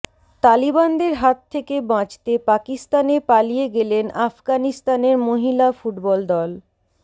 তালিবানদের হাত থেকে বাঁচতে পাকিস্তানে পালিয়ে গেলেন আফগানিস্তানের মহিলা ফুটবল দল